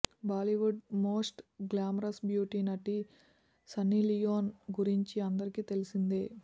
Bollywood most glamorous beauty నటి Sunny Leone గురించి అందరికీ తెలిసిందే